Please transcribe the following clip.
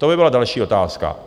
To by byla další otázka.